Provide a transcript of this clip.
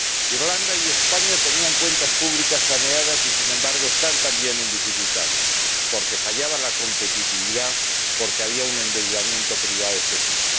Irlanda y España tenían cuentas públicas saneadas y, sin embargo, están también en dificultades, porque fallaba la competitividad, porque había un endeudamiento privado excesivo.